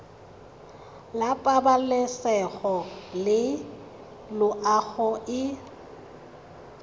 la pabalesego le loago e